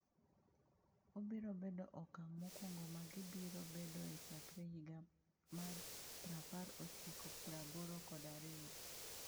Obiro bedo okang’ mokwongo ma gibiro bedoe chakre higa mar piraapar ochikopraboro kod ariyo.